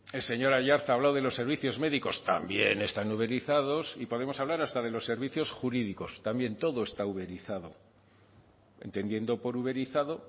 el señor aiartza ha hablado de los servicios médicos también están uberizados y podemos hablar hasta de los servicios jurídicos también todo está uberizado entendiendo por uberizado